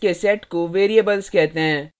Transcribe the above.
properties के set को variables कहते हैं